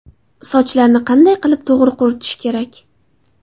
Sochlarni qanday qilib to‘g‘ri quritish kerak?.